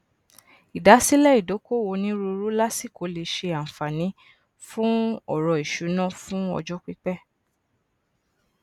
ìdasílẹ ìdókòwó oniruuru lasikó lè ṣe ànfààni fún ọrọ ìṣúná fun ọjọ pípẹ